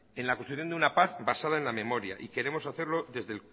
en la construcción de una paz basada en la memoria y queremos hacerlo desde